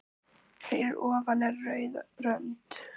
Fyrir ofan er rauð rönd.